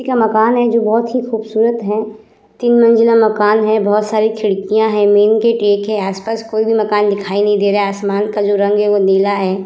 एक यहाँ मकान है जो बहोत ही खुबसूरत है तीन मंज़िला मकान है बहोत सारी खिड़कियाँ है मेन गेट एक है आस-पास कोई भी मकान दिखाई नहीं दे रहा है आसमान का जो रंग है वो नीला है।